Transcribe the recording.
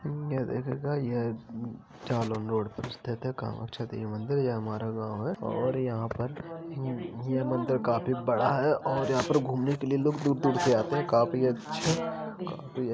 ये देखिएगा यह झालम रोड पर स्थित है कामख्या देवी मंदिर ये हमारा गांव है और यहाँ पर भू भू मंदिर काफी बड़ा है और यहाँ पर घूमने के लिए लोग दूर-दूर से आते हैं। काफी अच्छा काफी --